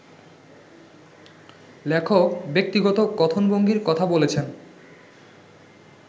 লেখক ‘ব্যক্তিগত কথনভঙ্গি’র কথা বলেছেন